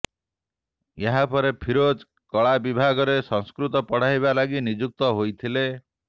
ଏହାପରେ ଫିରୋଜ କଳା ବିଭାଗରେ ସଂସ୍କୃତ ପଢାଇବା ଲାଗି ନିଯୁକ୍ତି ହୋଇଥିଲେ